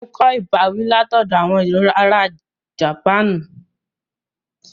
Mo kọ ìbáwí látoọ̀dọ̀ àwọn ará Japanu